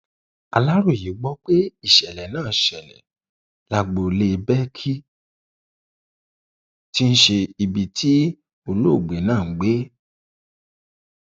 aláròye gbọ pé ìṣẹlẹ náà ṣẹlẹ lágboolé bẹkí tí í ṣe ibi tí olóògbé náà ń gbé